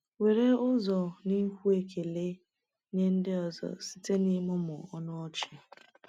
Were ụzọ n’ikwu ekele nye ndị ọzọ site n’ịmụmụ ọnụ ọchị.